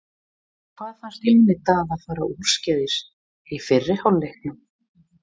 Hvað fannst Jóni Daða fara úrskeiðis í fyrri hálfleiknum?